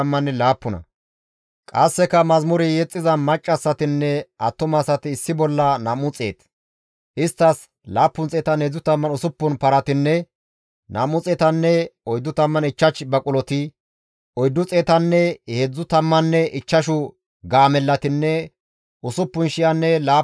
Ha di7ettida asati simmidi Yerusalaamen diza Xoossa keeth gakkida wode issi issi zarkke korapinneti Xoossa keeththi kase ba dizason keexettana mala ba shenen muxuwaata immida.